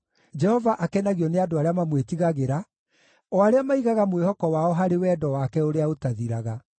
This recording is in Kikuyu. Jehova akenagio nĩ andũ arĩa mamwĩtigagĩra, o arĩa maigaga mwĩhoko wao harĩ wendo wake ũrĩa ũtathiraga.